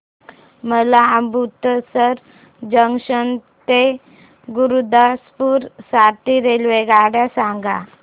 मला अमृतसर जंक्शन ते गुरुदासपुर साठी रेल्वेगाड्या सांगा